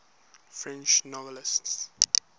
french novelists